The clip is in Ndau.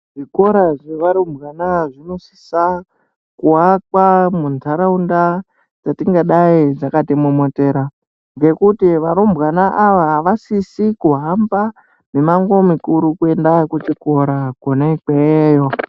Zvikora zvevarumbwana zvinosisa kuakwa muntaraunda dzetingadai dzakatimomotera ngekuti varumbwana ava, havasisi kuhamba mimango mikuru kuenda kuzvikora kwena ikweyo.